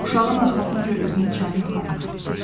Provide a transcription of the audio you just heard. Uşağın arxasınca özünü çayın axarına atdı.